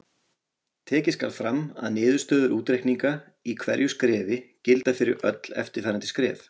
Tekið skal fram að niðurstöður útreikninga í hverju skrefi gilda fyrir öll eftirfarandi skref.